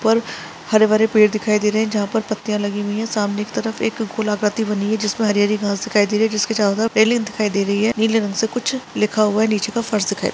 ऊपर हरे- भरे पेड़ दिखाई दे रहे है जहाँ पर पत्तियाँ लगी हुई है सामने की तरफ एक गोलाकृति बनी है जिसमें हरी -हरी घास दिखाई दे रही है जिसके चारों तरफ पेलिंग दिखाई दे रही है निले रंग से कुछ लिखा हुआ है नीचे का फर्श दिखाई --